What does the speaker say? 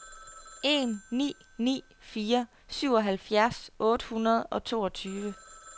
en ni ni fire syvoghalvfjerds otte hundrede og toogtyve